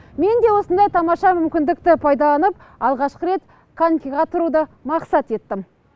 мен де осындай тамаша мүмкіндікті пайдаланып алғашқы рет конькиға тұруды мақсат еттім